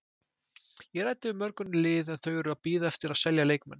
Ég ræddi við mörg önnur lið en þau eru að bíða eftir að selja leikmenn.